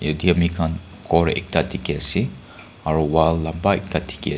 yetey ami khan ghor ekta dikhi ase aru wall lumba ekta dikhi as--